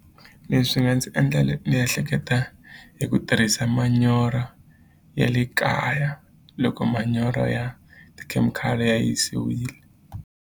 Leswi swi nga ndzi endla ni ehleketa eku tirhisa manyoro ya le kaya loko manyoro ya tikhemikhali ya yisiwile.